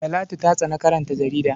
Talatu ta tsani karanta jarida.